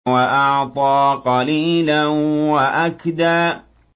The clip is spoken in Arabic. وَأَعْطَىٰ قَلِيلًا وَأَكْدَىٰ